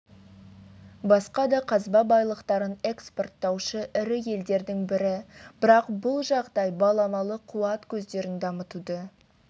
басқа да қазба байлықтарын экспорттаушы ірі елдердің бірі бірақ бұл жағдай баламалы қуат көздерін дамытуды